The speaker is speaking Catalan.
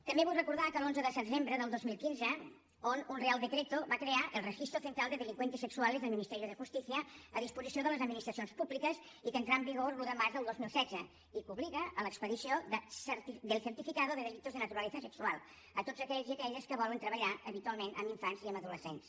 també vull recordar que l’onze de desembre del dos mil quinze un real decreto va crear el registro central de delincuentes sexuales del ministerio de justicia a disposició de les administracions públiques i que entrà en vigor l’un de març del dos mil setze i que obliga a l’expedició del certificado de delitos de naturaleza sexual a tots aquells i aquelles que volen treballar habitualment amb infants i amb adolescents